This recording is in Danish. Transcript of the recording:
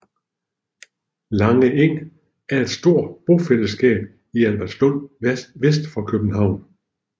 Lange Eng er et stort bofællesskab i Albertslund vest for København